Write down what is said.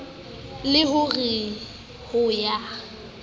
le ho re ho ya